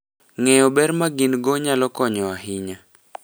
Ng'eyo ber ma gin - go nyalo konyo ahinya .